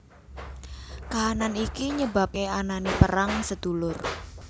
Kahanan iki nyebabake anane perang sedulur